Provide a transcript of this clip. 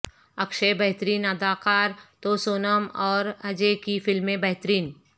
اکشے بہترین اداکار تو سونم اور اجے کی فلمیں بہترین